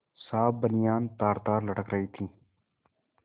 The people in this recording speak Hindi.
साफ बनियान तारतार लटक रही थी